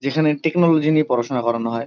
যেখানে টেকনোলজি নিয়ে পড়াশুনা করানো হয়।